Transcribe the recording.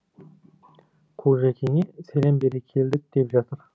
қожекеңе сәлем бере келдік деп жатыр